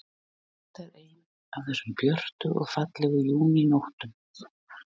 Þetta er ein af þessum björtu og fallegu júnínóttum.